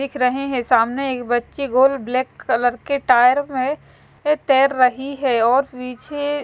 दिख रहे है सामने एक बच्चे गोल ब्लैक कलर के टायर में तेर रही है और पीछे--